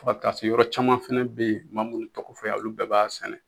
Fɔ ka taa se yɔrɔ caman fɛnɛ be yen n m'a munnu tɔgɔ fɔ yan olu bɛɛ b'a sɛnɛ